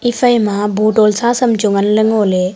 iphaima bottle sa saam chu nganley ngoley.